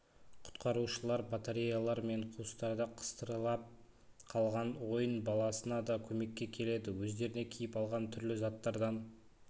құтқарушылар батареялар мен қуыстарда қыстырылап қалған ойын баласына да көмекке келеді өздеріне киіп алған түрлі заттардан